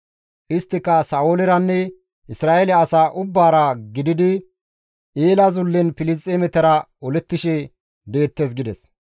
Isttika Sa7ooleranne Isra7eele asaa ubbaara gididi Eela zullen Filisxeemetara olettishe deettes» gides.